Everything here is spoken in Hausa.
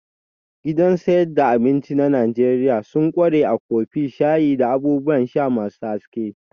Gidan sayad da abinci na Najeriya sun ƙware a kofi, shayi, da abubuwan sha masu haske